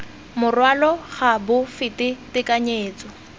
morwalo ga bo fete tekanyetso